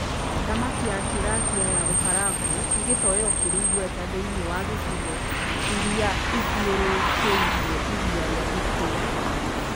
Thamaki ya tirapia ya gũkarangwo nĩ gĩtowero kĩrĩ igweta thĩiniĩ wa gicigo irĩa ithiorũrũkĩirie iria rĩa Victoria.